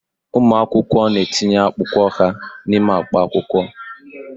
Ụmụ akwụkwọ na-etinye akwụkwọ ha n'ime akpa akwụkwọ.